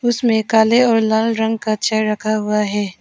इसमें काले और लाल रंग का चेयर रखा हुआ है।